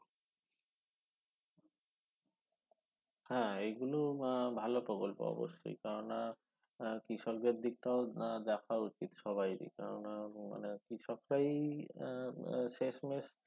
হ্যা এইগুলো আহ ভালো প্রকল্প অবশ্যই কেননা এর কৃষকদের দিকটাও আহ দেখা উচিত সবারই কেননা মানে কৃষকরাই এর এর শেষমেষ